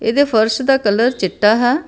ਇਹਦੇ ਫਰਸ਼ ਦਾ ਕਲਰ ਚਿੱਟਾ ਹੈ।